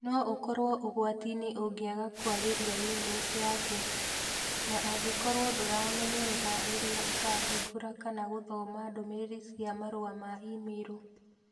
No ũkorũo ũgwati-inĩ ũngĩaga kũagĩria Windows yaku. Na angĩkorũo ndũrĩmenyerera rĩrĩa ũrahingũra kana gũthoma ndũmĩrĩri cia marũa ma e-mĩirũ.